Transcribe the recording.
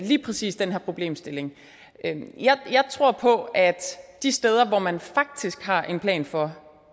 lige præcis den her problemstilling jeg tror på at de steder hvor man faktisk har en plan for